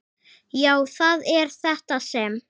Já, það er þetta sem.